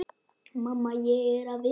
Mamma, ég er að vinna.